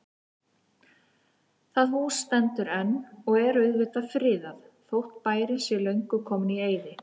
Það hús stendur enn og er auðvitað friðað, þótt bærinn sé löngu kominn í eyði.